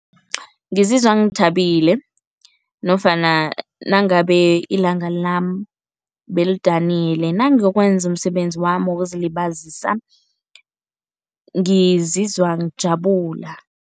Ngizizwa ngithabile nofana nangabe ilanga lami belidanile, nangenza umsebenzi wami wokuzilibazisa ngizizwa ngijabula.